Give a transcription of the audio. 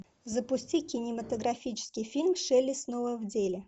запусти кинематографический фильм шелли снова в деле